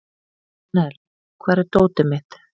Annel, hvar er dótið mitt?